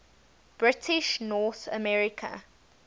british north america